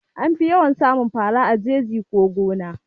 Anfi yawan samun fara a jeji ko gona